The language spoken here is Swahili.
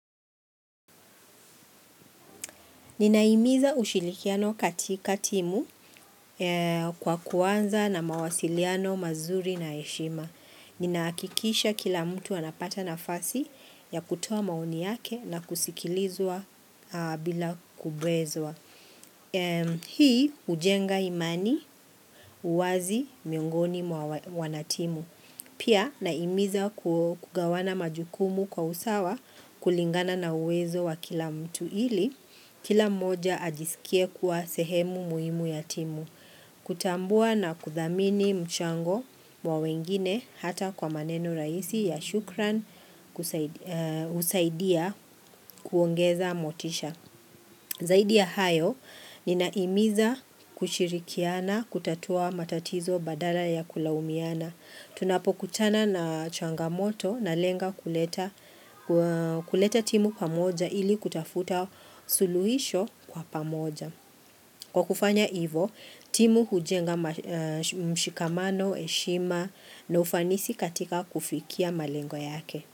Ninahimiza ushirikiano katika timu kwa kuanza na mawasiliano mazuri na heshima. Ninahakikisha kila mtu anapata nafasi ya kutoa maoni yake na kusikilizwa bila kubezwa. Hii hujenga imani, uwazi, miongoni mwa wanatimu. Pia nahimiza kugawana majukumu kwa usawa kulingana na uwezo wa kila mtu ili. Kila mmoja ajisikie kuwa sehemu muhimu ya timu kutambua na kuthamini mchango wa wengine hata kwa maneno rahisi ya shukran, kusaidi husaidia kuongeza motisha Zaidi ya hayo ninahimiza kushirikiana kutatua matatizo badala ya kulaumiana Tunapokutana na changamoto na lenga kuleta kuleta timu pamoja ili kutafuta suluhisho kwa pamoja. Kwa kufanya ivo, timu hujenga mshikamano, heshima na ufanisi katika kufikia malengo yake.